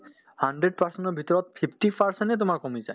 hundred percent ৰ ভিতৰত fifty percent য়ে তোমাৰ কমি যায়